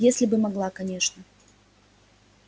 если бы могла конечно